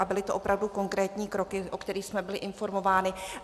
A byly to opravdu konkrétní kroky, o kterých jsme byli informováni.